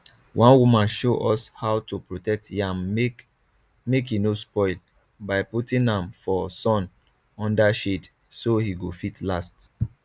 one woman show us how to protect yam make make he no spoil by putting am for sun under shade so he go fit last